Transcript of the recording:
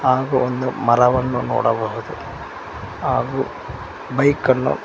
ಹಾಗು ಒಂದು ಮರವನ್ನು ನೋಡಬಹುದು ಹಾಗು ಬೈಕನ್ನು--